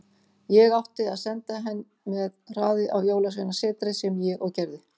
Ég átti að senda henn með hraði á jólasveinasetrið, sem ég og gerði.